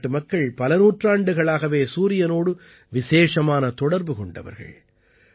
பாரத நாட்டு மக்கள் பல நூற்றாண்டுகளாகவே சூரியனோடு விசேஷமான தொடர்பு கொண்டவர்கள்